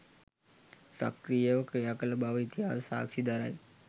සක්‍රීයව ක්‍රියාකළ බව ඉතිහාසය සාක්ෂි දරයි.